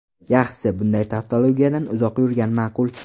Yaxshisi, bunday tavtologiyadan uzoq yurgan ma’qul.